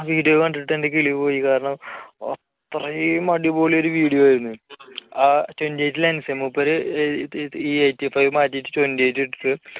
ആ video കണ്ടിട്ട് എന്റെ കിളി പോയി കാരണം അത്രയും അടിപൊളി ഒരു video ആയിരുന്നു ആ twenty eight lense മൂപ്പര് eighty five മാറ്റിയിട്ട് twenty eight lense ഇട്ട്